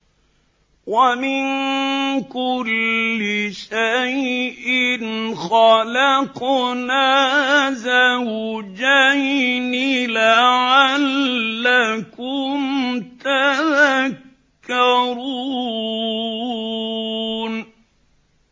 وَمِن كُلِّ شَيْءٍ خَلَقْنَا زَوْجَيْنِ لَعَلَّكُمْ تَذَكَّرُونَ